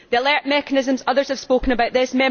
On the alert mechanisms others have spoken about this.